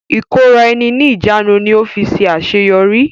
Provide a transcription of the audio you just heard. ìkóra ẹni níjàánu ni ó fi ṣe àṣeyọrí.